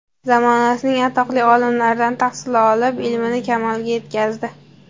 Zamonasining atoqli olimlaridan tahsil olib, ilmini kamolga yetkazdi.